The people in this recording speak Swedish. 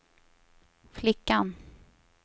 flickan